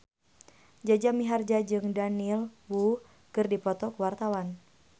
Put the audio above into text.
Jaja Mihardja jeung Daniel Wu keur dipoto ku wartawan